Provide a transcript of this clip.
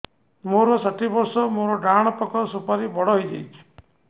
ମୋର ଷାଠିଏ ବର୍ଷ ମୋର ଡାହାଣ ପାଖ ସୁପାରୀ ବଡ ହୈ ଯାଇଛ